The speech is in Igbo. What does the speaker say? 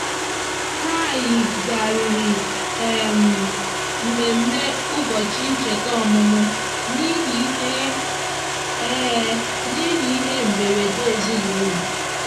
ha yigharịrị um mmemme ụbọchị ncheta ọmụmụ n'ihi ihe n'ihi ihe mberede ezinụụlọ.